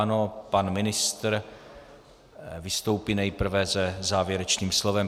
Ano, pan ministr vystoupí nejprve se závěrečným slovem.